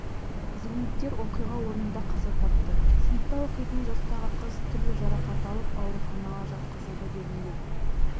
зейнеткер оқиға орнында қаза тапты сыныпта оқитын жастағы қыз түрлі жарақат алып ауруханаға жатқызылды делінген